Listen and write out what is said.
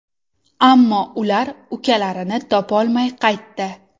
Ammo ular ukalarini topolmay qaytdi.